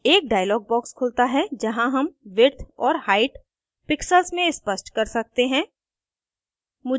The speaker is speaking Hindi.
एक dialog box खुलता है जहाँ हम विड्थ और height pixels में स्पष्ट कर सकते हैं